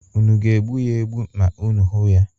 Unu ga-egbu ya egbu ma unu hụ ya?